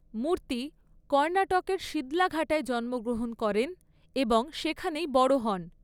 মূর্তি কর্ণাটকের শিদলাঘাটায় জন্মগ্রহণ করেন এবং সেখানেই বড় হন।